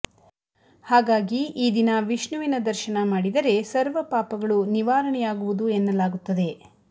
ಹಾಗಾಗಿ ಈ ದಿನ ವಿಷ್ಣುವಿನ ದರ್ಶನ ಮಾಡಿದರೆ ಸರ್ವಪಾಪಗಳು ನಿವಾರಣೆಯಾಗುವುದು ಎನ್ನಲಾಗುತ್ತದೆ